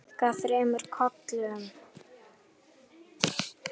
Þau kinka þremur kollum.